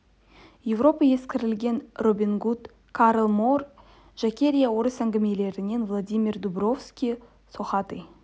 европа ескілігінен робин гуд карл моор жакерия орыс әңгімесінен владимир дубровский сохатый